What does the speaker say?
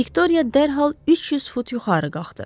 Viktoriya dərhal 300 fut yuxarı qalxdı.